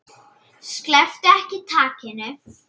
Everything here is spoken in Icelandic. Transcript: Slepptu ekki takinu.